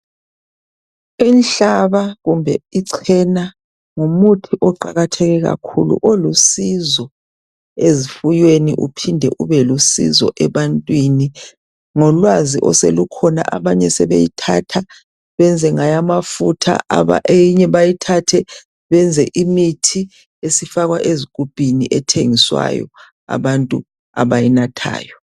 Inhlaba kumbe icena ngumuthi oqakatheke kakhulu olusizo ezifuyweni uphinde ube lusizo ebantwini. Ngolwazi oselukhona, abanye sebeyithatha banze ngayo amafutha, iyinye bayithathe benze imithi esifakwa ezigubhini ethengiswayo, abantu abayinathayo.